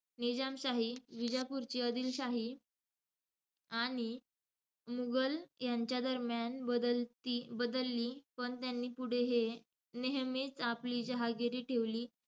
निजामशाही, विजापूरची आदिलशाही आणि मुघल यांच्यादरम्यान बदलती~ बदलली. पण त्यांनी पुढे हे नेहमीच आपली जहागिरी ठेवली.